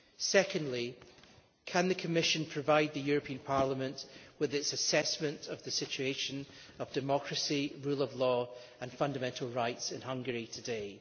Secondly can the Commission provide the European Parliament with its assessment of the situation of democracy, the rule of law and fundamental rights in Hungary today?